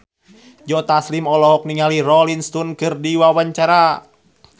Joe Taslim olohok ningali Rolling Stone keur diwawancara